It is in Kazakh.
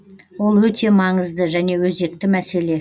ол өте маңызды және өзекті мәселе